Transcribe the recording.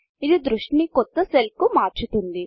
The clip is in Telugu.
ఇది దృష్టి ని కొత్త సెల్కు మార్చుతుంది